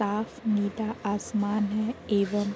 साफ़ नीता आसमान है। एवं --